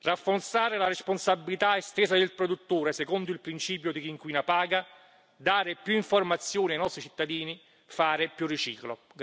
rafforzare la responsabilità estesa del produttore secondo il principio di chi inquina paga dare più informazioni ai nostri cittadini fare più riciclo.